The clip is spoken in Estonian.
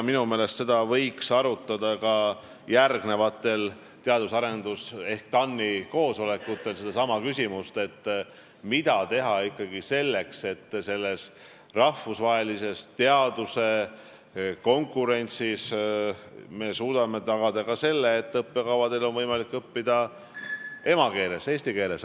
Minu meelest võiks ka järgmistel Teadus- ja Arendusnõukogu ehk TAN-i koosolekutel arutada, mida teha ikkagi selleks, et teaduse rahvusvahelises konkurentsis me suudaksime tagada ka selle, et on võimalik õppida emakeeles, eesti keeles.